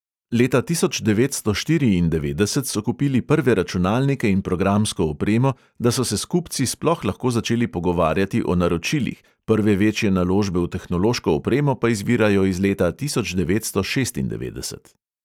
Leta tisoč devetsto štiriindevetdeset so kupili prve računalnike in programsko opremo, da so se s kupci sploh lahko začeli pogovarjati o naročilih, prve večje naložbe v tehnološko opremo pa izvirajo iz leta tisoč devetsto šestindevetdeset.